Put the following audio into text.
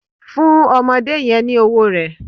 Fún ọmọdé yen ni owó rè